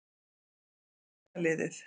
Hvar er brunaliðið?